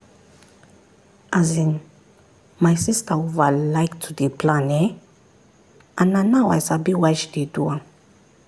as in my sister over like to dey plan ehnn and na now i sabi why she dey do am